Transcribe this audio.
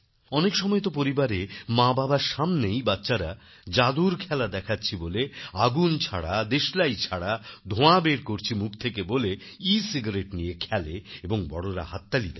অনেকসময় তো পরিবারে মাবাবার সামনেই বাচ্চারা যাদুর খেলা দেখাচ্ছি বলে আগুন ছাড়া দেশলাই ছাড়া ধোঁয়া বের করছি মুখ থেকে বলে এসিগারেট নিয়ে খেলে এবং বড়োরা হাততালি দেন